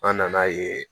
An nan'a ye